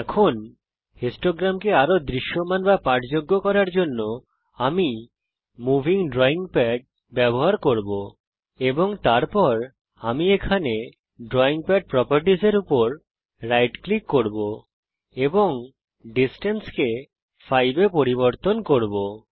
এখন বারলেখকে আরো দৃশ্যমান বা পাঠযোগ্য করার জন্যে আমি মুভিং ড্রাইং পাড ব্যবহার করব এবং তারপর আমি এখানে ড্রাইং পাড properties এর উপর রাইট ক্লিক করব এবং এই দূরত্বকে 5 এ পরিবর্তন করব